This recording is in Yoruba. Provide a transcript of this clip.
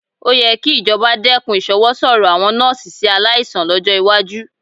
Ó yẹ kí ìjọba dẹ́kun ìṣọwọ́sọ̀rọ̀ àwọn nọ́ọ́sì sí aláìsàn lọ́jọ́ iwájú